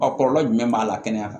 A kɔlɔlɔ jumɛn b'a la kɛnɛya kan